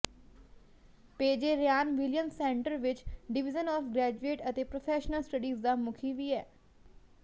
ਪੇਜੇ Ryan Williams center ਵਿਚ division of graduate ਅਤੇ professional studies ਦਾ ਮੁਖੀ ਵੀ ਹੈ